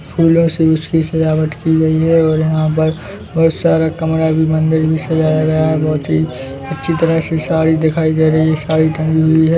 फूलों से उसकी सजावट की गई हैऔर यहाँ पर बोहोत सारा कमरा भी मंदिर भी सजाया गया हैऔर बोहोत ही अच्छी तरह से साड़ी दिखाई दे रही है साड़ी टंगी हुई है ।